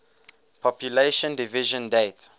population division date